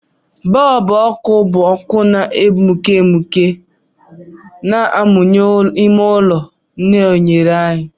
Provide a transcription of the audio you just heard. Bọlbụ ọkụ bụ ọkụ na-egbuke egbuke na-amụnye ime ụlọ na oghere anyị.